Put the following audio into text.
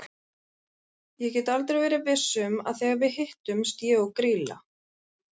Ég get aldrei verið viss um að þegar við hittumst ég og Grýla.